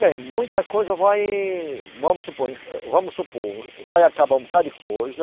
Bem, muita coisa vai, vamos supor, vamos supor, vai acabar um bocado de coisa.